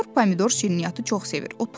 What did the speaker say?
Sinyor Pomidor şirniyyatı çox sevir.